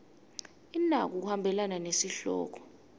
inako kuhambelana nesihloko